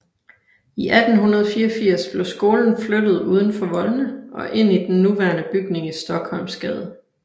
I 1884 blev skolen flyttet uden for voldene og ind i den nuværende bygning i Stockholmsgade